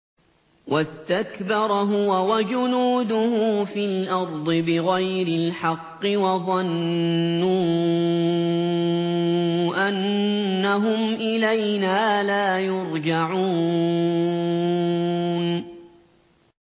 وَاسْتَكْبَرَ هُوَ وَجُنُودُهُ فِي الْأَرْضِ بِغَيْرِ الْحَقِّ وَظَنُّوا أَنَّهُمْ إِلَيْنَا لَا يُرْجَعُونَ